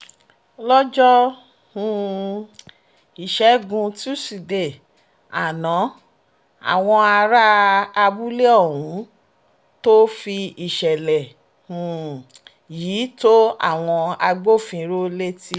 lọ́jọ́ um ìṣẹ́gun tusidee àná làwọn ará abúlé ọ̀hún tóó fi ìṣẹ̀lẹ̀ um yìí tó àwọn agbófinró létí